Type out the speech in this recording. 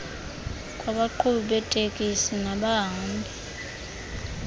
kwabaqhubi beetekisi nabahambi